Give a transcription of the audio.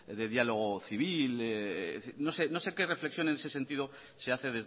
de diálogo civil no sé que reflexiones en ese sentido se hace